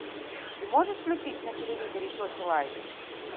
ты можешь включить на телевизоре сочи лайф